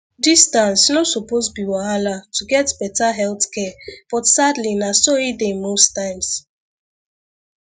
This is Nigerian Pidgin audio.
distance no suppose be wahala to get better health care but sadly na so e dey most times